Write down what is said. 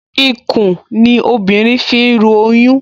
Ikùn ni obìnrin fi ń ru oyún